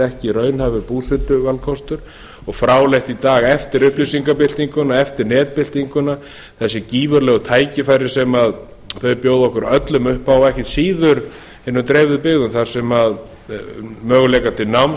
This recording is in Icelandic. ekki raunhæfur búsetuvalkostur og fráleitt í dag eftir upplýsingabyltinguna eftir netbyltinguna þessi gífurlegu tækifæri sem þau bjóða okkur öllum upp á og ekkert síður hinum dreifðu byggðum þar sem möguleikar til náms